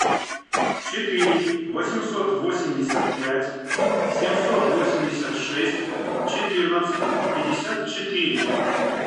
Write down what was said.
четыре восемьсот восемьдесят пять семьсот восемьдесят шесть четырнадцать пятьдесят четыре